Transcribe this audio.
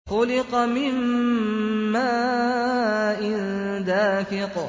خُلِقَ مِن مَّاءٍ دَافِقٍ